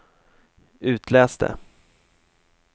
itläs det